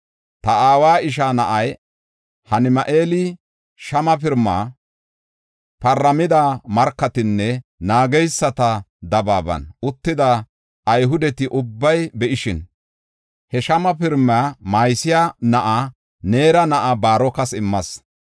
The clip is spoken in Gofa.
Ta aawa ishaa na7ay Hanami7eeli, shama pirimaa paramida markatinne naageysata dabaaban uttida Ayhudeti ubbay be7ishin, he shama pirimaa Mahiseya na7aa, Neera na7aa Baarokas immas.